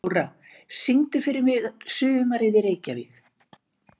Flóra, syngdu fyrir mig „Sumarið í Reykjavík“.